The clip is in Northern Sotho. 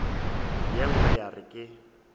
ye nngwe ya re ke